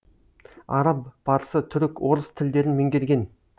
араб парсы түрік орыс тілдерін меңгерген